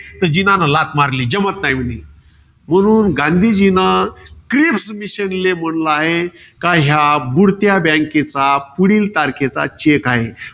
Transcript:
तर जिनाने लाथ मारली. जमत नाही म्हणे. म्हणून गांधीजीन, क्रिस mission ले म्हंटल आहे. कि या बुडत्या bank चा पुढील तारखेचा cheque आहे.